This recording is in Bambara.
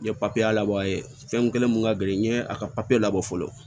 N ye papiye labɔ yen fɛn kelen mun ka gɛlɛn n ye a ka papiye labɔ fɔlɔ